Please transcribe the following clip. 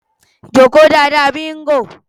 Jókòó dáadáa Bingo (ajá).